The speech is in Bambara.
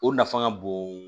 O nafa ka bon